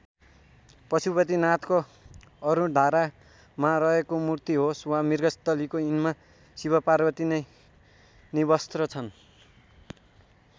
पशुपतिनाथको अरुणधारामा रहेको मूर्ति होस् वा मृगस्थलीको यिनमा शिवपार्वती नै निर्वस्त्र छन्।